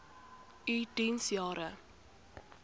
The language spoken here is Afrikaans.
u diens jare